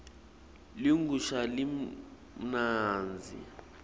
ligusha limnandzi